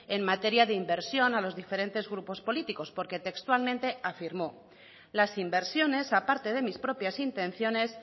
en materia de inversión a los diferentes grupos políticos porque textualmente afirmó las inversiones aparte de mis propias intenciones